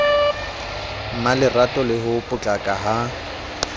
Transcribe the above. mmalerato le ho potlaka ha